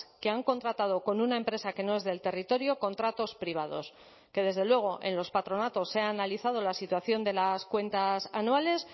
que han contratado con una empresa que no es del territorio contratos privados que desde luego en los patronatos se ha analizado la situación de las cuentas anuales